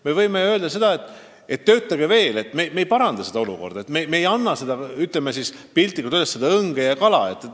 Me võime ju öelda, et töötage veel, et me ei paranda seda olukorda, et me ei anna seda piltlikult öeldes õnge ja kala.